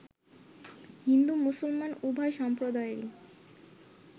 হিন্দু-মুসলমান উভয় সমপ্রদায়েরই